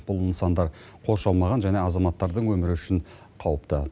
бұл нысандар қоршалмаған және азаматтардың өмірі үшін қауіпті